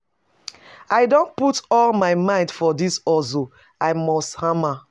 I don put all my mind for dis hustle, I must hama.